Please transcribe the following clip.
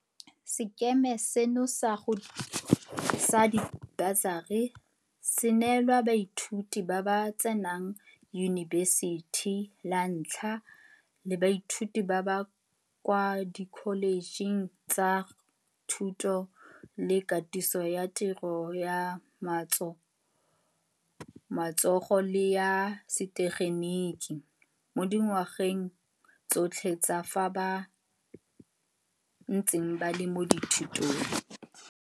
Sekema seno sa dibasari se neelwa baithuti ba ba tsenang yunibesithi la ntlha le baithuti ba ba kwa dikholetšheng tsa Thuto le Katiso ya Tiro ya Matso go le ya Setegeniki di-TVET, mo dingwageng tsotlhe tsa fa ba ntse ba le mo dithutong.